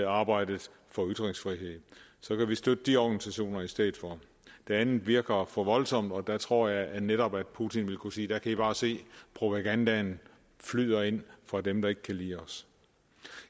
arbejdet for ytringsfrihed så kan vi støtte de organisationer i stedet for det andet virker for voldsomt og der tror jeg netop putin ville kunne sige der kan i bare se propagandaen flyder ind fra dem der ikke kan lide os